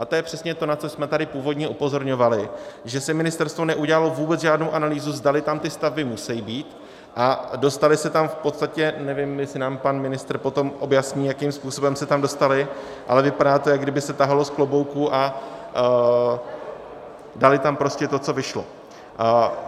A to je přesně to, na co jsme tady původně upozorňovali, že si ministerstvo neudělalo vůbec žádnou analýzu, zdali tam ty stavby musí být, a dostaly se tam v podstatě - nevím, jestli nám pan ministr potom objasní, jakým způsobem se tam dostaly, ale vypadá to, jako kdyby se tahalo z klobouku a dali tam prostě to, co vyšlo.